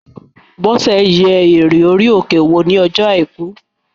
Bọ́sẹ̀ yẹ Mọ́nté duù wò ní ọjọ́ àìkú